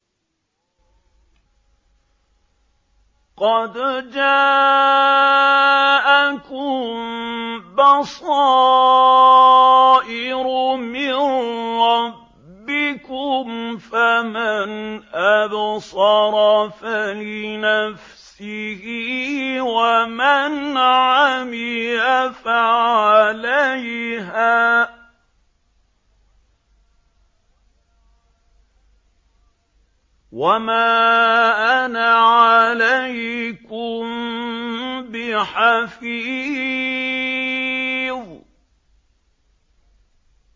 قَدْ جَاءَكُم بَصَائِرُ مِن رَّبِّكُمْ ۖ فَمَنْ أَبْصَرَ فَلِنَفْسِهِ ۖ وَمَنْ عَمِيَ فَعَلَيْهَا ۚ وَمَا أَنَا عَلَيْكُم بِحَفِيظٍ